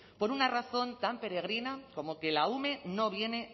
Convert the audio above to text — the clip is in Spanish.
por una razón tan peregrina como que la ume no viene